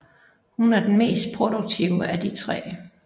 Hun er den mest produktive af de tre